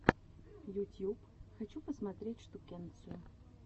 ютьюб хочу посмотреть штукенцию